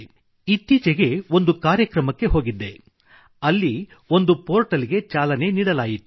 ಇತ್ತೀಚೆಗೆ ಒಂದು ಕಾರ್ಯಕ್ರಮಕ್ಕೆ ಹೋಗಿದ್ದೆ ಅಲ್ಲಿ ಒಂದು ಪೋರ್ಟಲ್ ಚಾಲನೆ ನೀಡಲಾಯಿತು